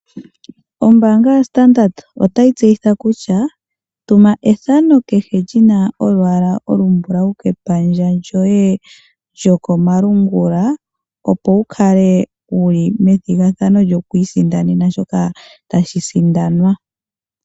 Ombanga yaStandard otayi tseyitha kutya tuma ethano kehe lyina olwaala olumbulawu kepandja lyoye lyokomalungula opo wukale wuli methigathano lyokwiisindanena shoka tashi sindanwa.